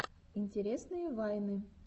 интересные вайны